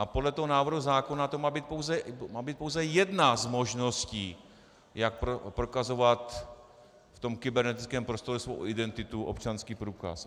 A podle toho návrhu zákona to má být pouze jedna z možností, jak prokazovat v tom kybernetickém prostoru svou identitu, občanský průkaz.